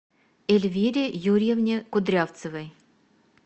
эльвире юрьевне кудрявцевой